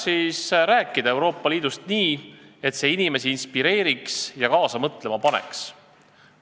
Kuidas ikkagi rääkida Euroopa Liidust nii, et see inimesi inspireeriks ja kaasa mõtlema paneks?